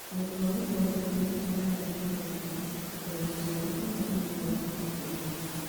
Ũhoti wa gũtaũkĩrũo nĩ mĩtugo ya arĩa mareruta (ta ũhoti wao kana ũmenyo wao wa ũndũ mũna)